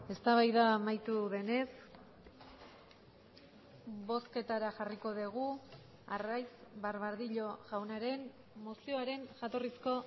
eztabaida amaitu denez bozketara jarriko dugu arraiz barbadillo jaunaren mozioaren jatorrizko